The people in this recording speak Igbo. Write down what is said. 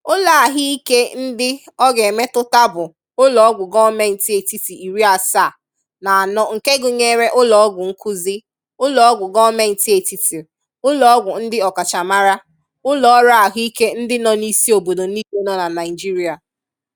ụlọ ahụike ndị ọ ga-emetụta bụ ụlọọgwụ gọọmentị etiti iri asaa na anọ nke gụnyere ụlọọgwụ nkuzi, ụlọọgwụ gọọmentị etiti, ụlọọgwụ ndị ọkachamara, ụlọọrụ ahụike ndi nọ n'isi obodo niile nọ na Naịjiria.